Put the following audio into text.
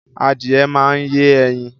Adìye máa ń yé ẹyin